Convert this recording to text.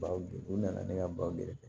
Bawo u nana ne ka baw gɛrɛ